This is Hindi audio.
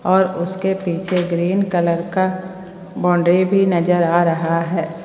और उसके पीछे ग्रीन कलर का बाउंड्री भी नजर आ रहा है।